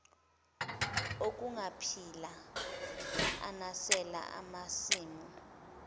okungaphila anisela amasimu